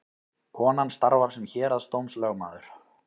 Konan starfar sem héraðsdómslögmaður